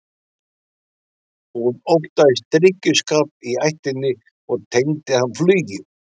Hún óttaðist drykkjuskap í ættinni og tengdi hann flugi.